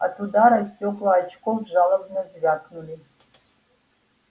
от удара стёкла очков жалобно звякнули